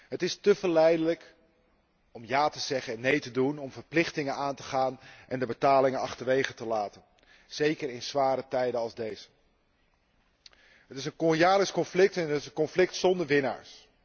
Het is te verleidelijk om ja te zeggen en nee te doen, om verplichtingen aan te gaan en de betalingen achterwege te laten, zeker in zware tijden als deze. Het is een jaarlijks conflict en het is een conflict zonder winnaars.